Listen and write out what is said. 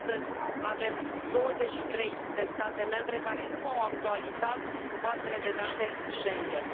Astăzi avem douăzeci și trei de state membre care nu au actualizat bazele de date Schengen.